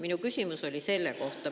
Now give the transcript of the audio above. Minu küsimus oli.